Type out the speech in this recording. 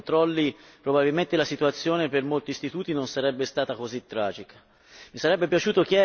Se in passato si fossero fatti adeguati controlli, probabilmente la situazione per molti istituti non sarebbe